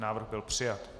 Návrh byl přijat.